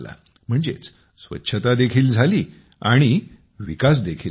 म्हणजेच स्वच्छता देखील झाली आणि विकास देखील झाला